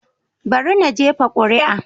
Bari na jefa kuri'a.